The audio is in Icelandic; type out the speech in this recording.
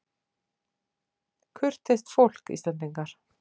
Kurteist fólk, Íslendingar.